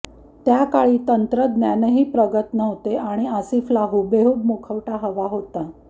त्याकाळी तंत्रज्ञानही प्रगत नव्हते आणि आसिफला हुबेहूब मुखवटा हवा होता